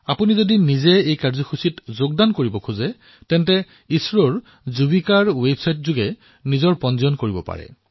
আপুনি যদি নিজে অংশগ্ৰহণ কৰিবলৈ বিচাৰিছে তেন্তে ইছৰৰ সৈতে জড়িত যুবিকাৰ ৱেবছাইটলৈ গৈ পঞ্জীয়নো কৰিব পাৰে